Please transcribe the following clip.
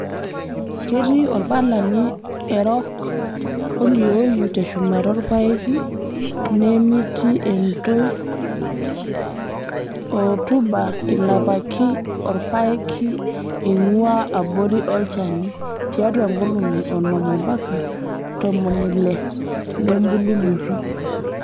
ketii orpalani erok oliooyu teshumata orpaeki neemiti entoi, orutuba ilapaki orpaeki eingua abori olchani (tiatua nkolongi onom ompaka ntomoni ile lembulunoto).